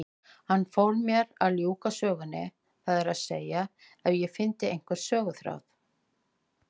Fól hann mér að ljúka sögunni, það er að segja ef ég fyndi einhvern söguþráð.